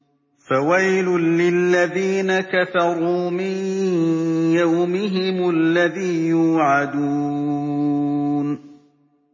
فَوَيْلٌ لِّلَّذِينَ كَفَرُوا مِن يَوْمِهِمُ الَّذِي يُوعَدُونَ